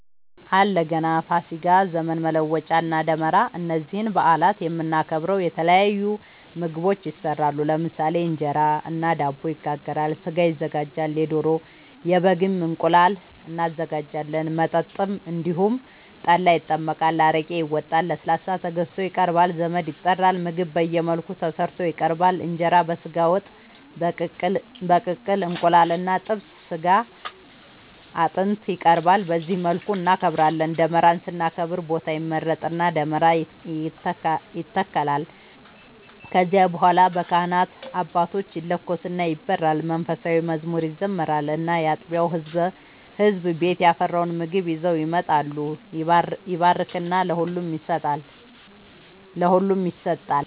አለ ገና፣ ፋሲካ፣ ዘመን መለወጫ እና ደመራ እነዚህን በአላት የምናከብረው የተለያዩ ምግቦች ይሰራሉ ለምሳሌ እንጀራ እና ዳቦ ይጋገራል፣ ስጋ ይዘጋጃል የዶሮ፣ የበግም፣ እንቁላል እናዘጋጃለን። መጠጥም እንደዚሁ ጠላ ይጠመቃል፣ አረቄ ይወጣል፣ ለስላሳ ተገዝቶ ይቀርባል ዘመድ ይጠራል ምግብ በየመልኩ ተሰርቶ ይቀርባል እንጀራ በስጋ ወጥ፣ በቅቅል እንቁላል እና ጥብስ ስጋ አጥንት ይቀርባል በዚህ መልኩ እናከብራለን። ደመራን ስናከብር ቦታ ይመረጥና ደመራ ይተከላል ከዚያ በኋላ በካህናት አባቶች ይለኮስና ይበራል መንፉሳዊ መዝሙር ይዘመራል እና ያጥቢያው ህዝብ ቤት ያፈራውን ምግብ ይዘው ይመጣሉ ይባረክና ለሁሉም ይሰጣል።